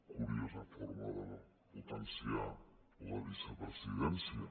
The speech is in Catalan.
curiosa forma de potenciar la vicepresidència